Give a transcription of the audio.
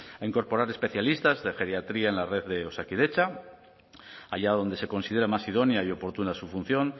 a incorporar especialistas de geriatría en la red de osakidetza allá donde se considere más idónea y oportuna su función